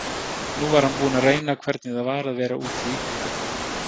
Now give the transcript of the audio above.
Nú var hann búinn að reyna hvernig það var að vera úti í kuldanum.